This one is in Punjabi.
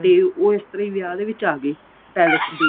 ਤੇ ਉਹ ਇਸ ਤਰ੍ਹਾਂ ਵਿਆਹ ਦੇ ਵਿੱਚ ਆਗੇ palace ਦੇ